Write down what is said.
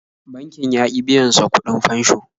Bankin ya ƙi biyan sa kuɗin fansho.